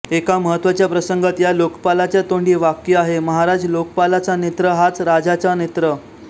एका महत्त्वाच्या प्रसंगात या लोकपालाच्या तोंडी वाक्य आहे महाराज लोकपालाचा नेत्र हाच राजाचा नेत्र